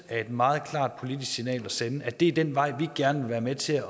er et meget klart politisk signal at sende at det er den vej vi gerne vil være med til